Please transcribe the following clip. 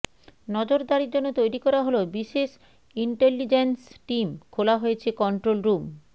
নজরদারির জন্য তৈরি করা হল বিশেষ ইন্টেলিজেন্স টিম খোলা হয়েছে কন্ট্রোল রুম